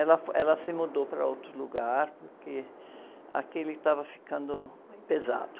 Ela, ela se mudou para outro lugar, porque aquele estava ficando pesado.